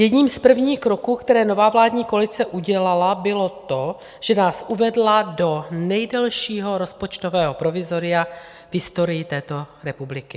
Jedním z prvních kroků, které nová vládní koalice udělala, bylo to, že nás uvedla do nejdelšího rozpočtového provizoria v historii této republiky.